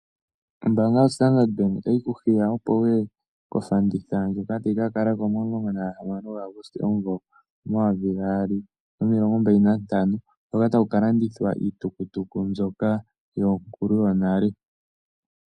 Ombaanga yoStandard Bank otayi ku hiya, opo wu ye kofanditha ndjoka tayi ka kala ko mo 16 Auguste 2025, hoka taku ka landithwa iitukutuku mbyoka yonkulu yonale.